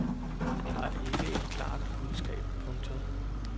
Der er ikke et klart budskab. punktum